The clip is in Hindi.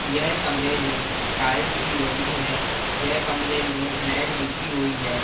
यह कमरे में टाइल्स भी लगी है यह कमरे में मैट बिछी हुई है।